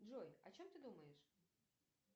джой о чем ты думаешь